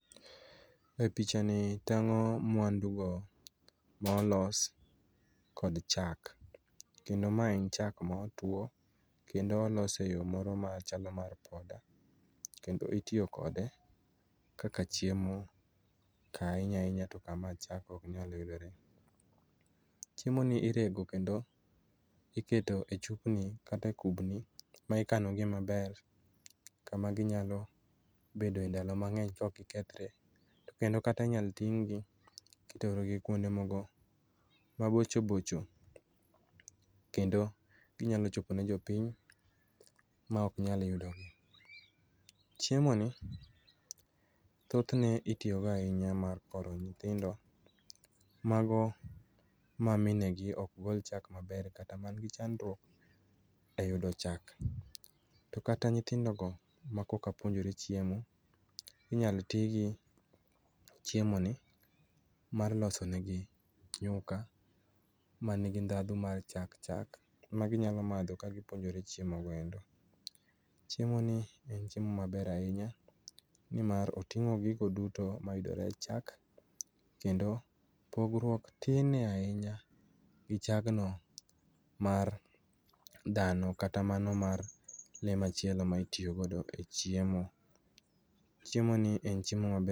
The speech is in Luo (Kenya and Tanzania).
E pichani tang'o mwandugo ma olos kod chak. Kendo mae en cha ma otwo, kendo olos e yo moro machalo mar poda. Kendo itiyo kode kaka chiemo, ka ahinya ahinya to kama chak oknyal yudore. Chiemoni irego kendo iketo e chupni kata e kubni ma ikano gie maber. Kama ginyalo bedoe ndalo mang'eny ka ok okethore. Kendo kata inyalo ting'gi kiterogi kuonde moko mabocho bocho. Kendo ginyalo chopo ne jopiny ma oknyal yudogi. Chiemoni thothne itiyogo ahinya mar koro nyithindo, mago ma mine gi okgol chak maber, kata manigi chandruok e yudo chak. To kata nyithindo go ma koka puonjore chiemo, inyalo ti gi chiemoni mar loso negi nyuka ma nigi ndhadhu mar chak chak, maginyalo madho ka gipuonjore chiemo go endo. Chiemo ni en chiemo maber ahinya, ni mar oting'o gigo duto mayudore e chak. Kendo pogruok tine ahinya gi chagno mar dhano kata mano mar le machielo ma itiyo godo e chiemo. Chiemo ni en chiemo maber.